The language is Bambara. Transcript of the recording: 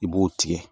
I b'o tigɛ